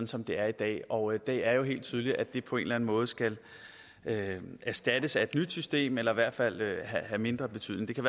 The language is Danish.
som det er i dag og det er jo helt tydeligt at det på en måde skal erstattes af et nyt system eller i hvert fald have mindre betydning det kan